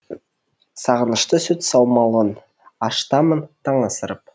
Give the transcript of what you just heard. сағынышты сүт саумалын ашытамын таң асырып